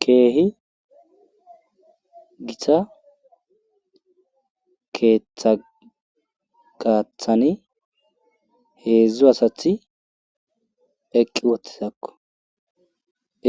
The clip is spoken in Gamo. Keehi gita keeththa gaathani heedzdzu asati eqqi uttidakko